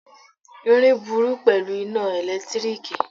Irin burú pẹ̀lú iná ẹ̀lẹ́tíríkì.